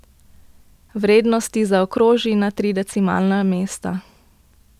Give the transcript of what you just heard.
Vrednosti zaokroži na tri decimalna mesta.